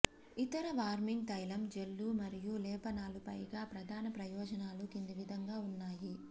ఇతర వార్మింగ్ తైలం జెల్లు మరియు లేపనాలు పైగా ప్రధాన ప్రయోజనాలు కింది విధంగా ఉన్నాయి